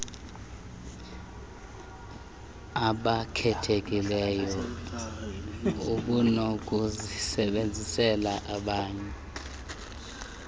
obakhethileyo ubunokuzisebenzisela bani